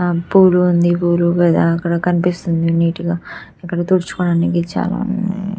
ఆ పూలు ఉంది పూలు కదా అక్కడ కనిపిస్తుంది నీటుగా ఇక్కడ తుడుచుకోవడానికి చాలా --